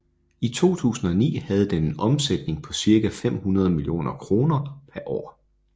I 2009 havde den en omsætning på cirka femhundrede millioner kroner per år